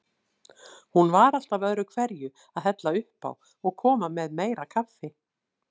Hún var alltaf öðruhverju að hella uppá og koma með meira kaffi.